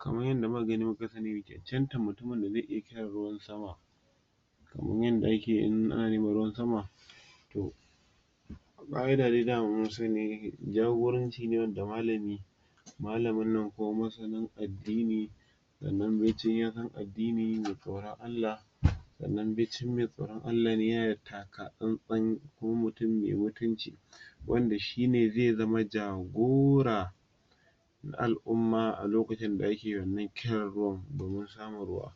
Kaman yadda muka gani muka sani, janta mutumin da zai iya kiran ruwan sama kaman yadda ake yi in an nemi ruwan sama daman mun sani, jagoranci ne wanda malami malamin nan ko masanin addini sannan bicin ya san addini mai tsoran Allah, sannan bicin mai tsoran Allah ne ya na da takatsantsan ko mutum mai mutunci wanda shi ne zai zama jogora na al'umma a lokacin da yake wannan kiran ruwan domin samun ruwa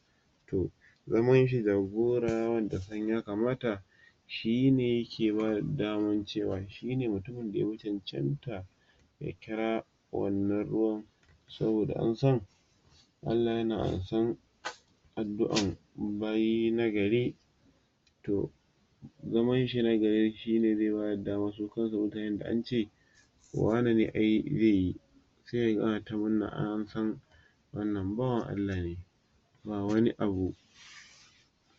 toh zaman shi jagora ya san ya kamata shi ne yake ba da daman cewa shi ne mutumin da ya chanchanta ya kira wannan ruwan saboda an san Allah yana amsan addu'an bayi na gari toh zaman shi wane ne ai zai yi sai ka ga ana ta murna ai an san wannan bawan Allah ne ba wani abu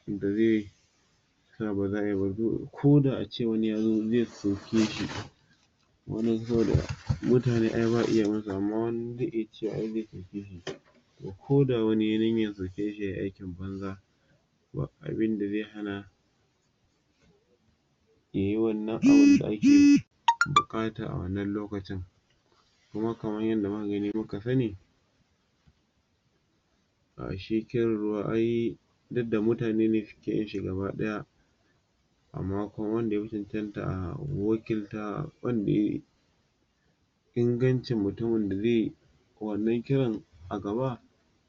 da zai sa ba za a ko da a ce wani ya zo zai soke shi wani saboda, mutune ai ba a iya yi masu, amma wani zai iya cewa zai soke shi ko da wani ya yi niyan zirtan shi ya yi aikin banza, ba abinda zai hana buƙata a wannan lokacin kuma kaman yadda mu ka gani muka sani shi kiran ruwa ai, duk da mutane ne suke yin shi gabaɗaya amma kuma wanda ya ingancin mutumin da zai yi wannan kiran a gaba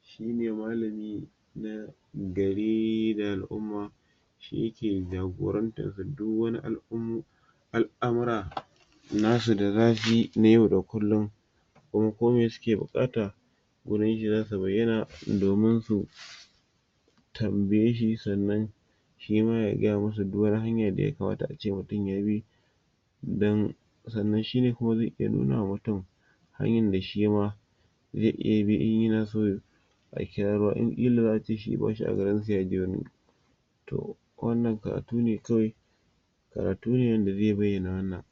shi ne malami na gari da al'umma shi ya ke jagorantar duk wani al'amura na su da za suyi na yau da kullum kuma ko miye suke buƙata, wurin shi za su bayyana domin su tambiye shi sannan shi ma ya gaya masu duk wani hanya da ya kamata a ce mutum ya bi don um sannan shi ne kuma zai iya nuna wa mutum har yanda shi ma zai iya bi in ya na so a kira ruwa in ilo yace shi ba shi a garin sa ya toh wannan karatu ne kawai karatu ne wanda zai bayyana wannan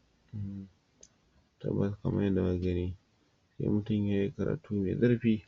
kamar kamar yadda muka gani sai mutum yayi karatu mai zurfi.